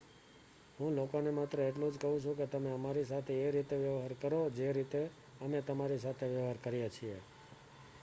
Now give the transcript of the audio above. હું લોકોને માત્ર એટલું જ કહું છું કે તમે અમારી સાથે એ રીતે વ્યવહાર કરો જે રીતે અમે તમારી સાથે વ્યવહાર કરીએ છીએ